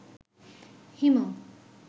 Himu